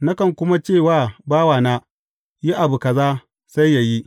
Nakan kuma ce wa bawana, Yi abu kaza,’ sai yă yi.